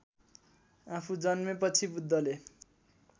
आफू जन्मेपछि बुद्धले